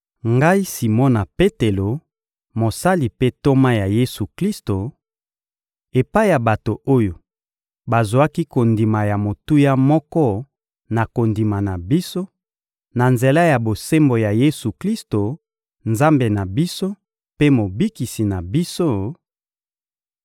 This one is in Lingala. Ngai Simona Petelo, mosali mpe ntoma ya Yesu-Klisto; Epai ya bato oyo bazwaki kondima ya motuya moko na kondima na biso, na nzela ya bosembo ya Yesu-Klisto, Nzambe na biso mpe Mobikisi na biso: